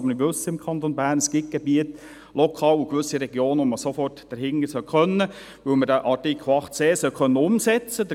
Wir wissen aber, dass es im Kanton Bern gewisse Gebiete gibt, bei welchen man sofort beginnen sollte können, weil man den Artikel 8c umsetzen sollte.